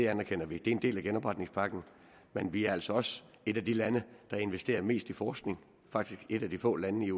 anerkender vi det er en del af genopretningspakken men vi er altså også et af de lande der investerer mest i forskning faktisk et af de få lande